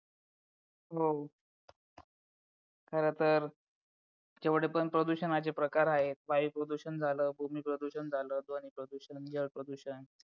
हो खरं तर जेवढे पण प्रदूषणाचे प्रकार आहेत वायु प्रदूषण झालं भूमी प्रदूषण झाल ध्वनी प्रदूषण जलप्रदूषण